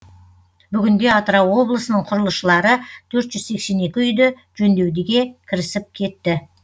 бүгінде атырау облысының құрылысшылары төрт жүз сексен екі үйді жөндеуге де кірісіп кетті